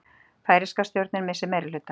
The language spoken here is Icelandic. Færeyska stjórnin missir meirihluta